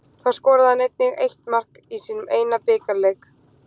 Þá skoraði hann einnig eitt mark í sínum eina bikarleik.